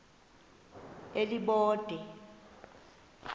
elibode